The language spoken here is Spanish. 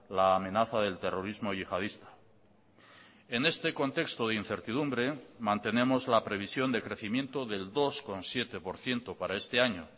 la amenaza del terrorismo yihadista en este contexto de incertidumbre mantenemos la previsión de crecimiento del dos coma siete por ciento para este año